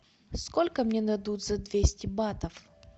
сколько мне дадут за двести батов